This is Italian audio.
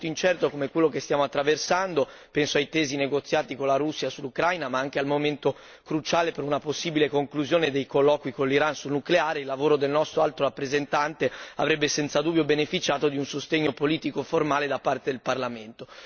In un momento incerto come quello che stiamo attraversando, penso ai tesi negoziati con la Russia sull'Ucraina, ma anche al momento cruciale per una possibile conclusione dei colloqui con l'Iran sul nucleare, il lavoro del nostro Alto rappresentante avrebbe senza dubbio beneficiato di un sostegno politico formale da parte del Parlamento.